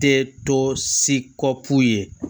Tɛ tɔ si kɔ ku ye